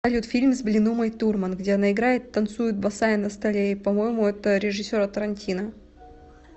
салют фильм с блин умой турмай где она играет танцует босая на столе и по моему это режиссера тарантино